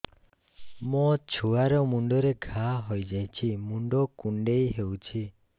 ମୋ ଛୁଆ ମୁଣ୍ଡରେ ଘାଆ ହୋଇଯାଇଛି ମୁଣ୍ଡ କୁଣ୍ଡେଇ ହେଉଛି